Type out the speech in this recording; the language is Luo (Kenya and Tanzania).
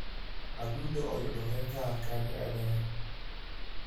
adundo yudore kar kanye e del.